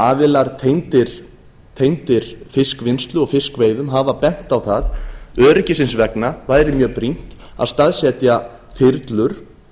aðilar tengdir fiskvinnslu og fiskveiðum hafa bent á að öryggisins vegna væri mjög brýnt að staðsetja þyrlur